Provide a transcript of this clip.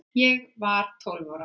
Ég var tólf ára